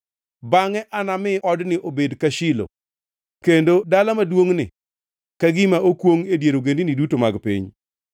bangʼe anami odni obed ka Shilo kendo dala maduongʼni ka gima okwongʼ e dier ogendini duto mag piny.’ ”